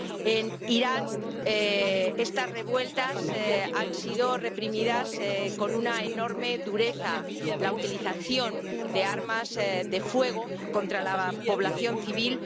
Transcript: En Irán estas revueltas han sido reprimidas con una enorme dureza, con la utilización de armas de fuego contra la población civil.